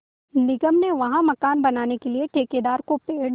निगम ने वहाँ मकान बनाने के लिए ठेकेदार को पेड़